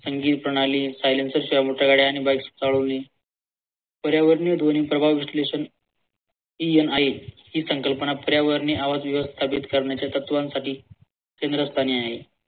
संगीत प्रणाली silencer शिवाय मोठ्या गाड्या आणि bikes चालवणे पर्यावरणीय ध्वन प्रभाव विश्लेषण हि आहेत ही संकल्पना आवाज बिवाज स्थगित करण्याच्या तत्वांसाठी केंद्रस्थानी आहे.